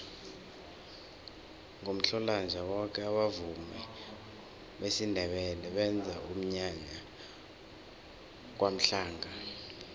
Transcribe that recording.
ngomhlolanja boke abavumi besindebele benza umnyanya kwamhlanga